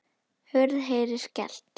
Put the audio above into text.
Hurð heyrist skellt.